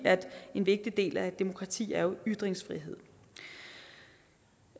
en vigtig del af et demokrati jo er ytringsfrihed